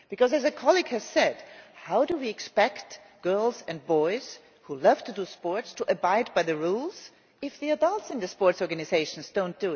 As a colleague has said, how do we expect girls and boys who love to do sport to abide by the rules if the adults in sports organisations do not?